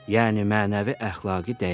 Yəni mənəvi əxlaqi dəyərini.